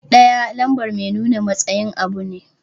"Ɗaya" lambar mai nuna matsayin abu ne.